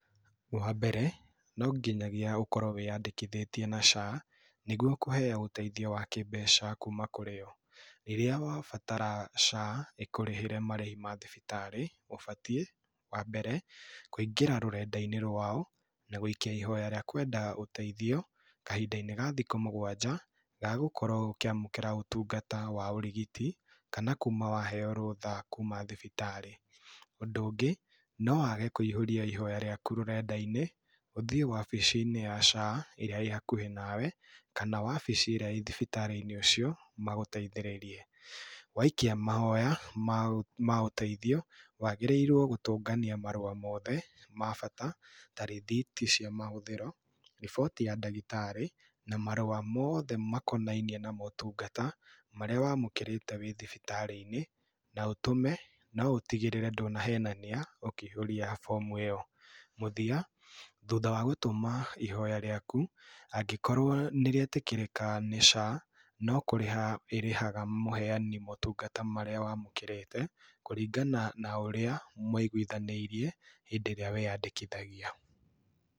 Wa mbere, no nginyagia ũkorwo wĩyandĩkithĩtie na SHA nĩguo kũheo ũteithio wa kĩmbeca kũũma kũrĩo. Rĩrĩa wabatara SHA ĩkũrĩhĩre marĩhi ma thibitarĩ, ũbatiĩ wa mbere, kũingĩra rũrenda-inĩ rwao na gũikia ihoya rĩa kwenda ũteithio kahinda-inĩ ga thikũ mũgwanja ga gũkorwo ũkĩamũkĩra ũtungata wa ũrigiti kana kuma waheo rũtha kuma thibitarĩ. Ũndũ ũngĩ no wage kũihũria ihoya rĩaku rũrenda-inĩ, ũthĩĩ wabici-inĩ ya SHA ĩrĩa ĩ hakuhĩ nawe, kana wabici ĩrĩa ĩrĩ thibitarĩ-inĩ ũcio magũteithĩrĩrie. Waikia mahoya ma ũteithio, wagĩrĩirwo gũtũngania marũa mothe ma bata ta rĩthiti cia mahũthĩro, riboti ya ndagĩtarĩ na marũa mothe makonainiĩ na motungata marĩa wamũkĩrĩte wĩ thibitarĩ-inĩ na ũtũme, no ũtĩgĩrĩre ndũnahenania ũkĩihũria bomu ĩyo. Mũthia thutha wa gũtũma ihoya rĩaku, angĩkorwo nĩ rĩetĩkĩrĩka nĩ SHA, no kũrĩha ĩrĩhaga mũheani motungata marĩa wamũkĩrĩte kũringana na ũrĩa mwaiguithanĩirie hĩndĩ ĩrĩa weyandĩkithagia.